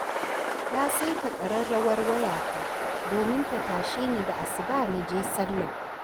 Na saita ƙararrawar wayata domin ta tashini da asuba na je sallah.